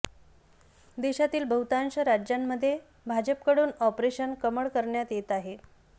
देशातील बहुतांश राज्यांमध्ये भाजपकडून ऑपरेशन कमळ करण्यात येत आहे